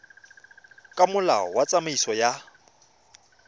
ka molao wa tsamaiso ya